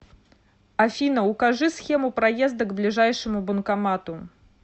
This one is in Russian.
афина укажи схему проезда к ближайшему банкомату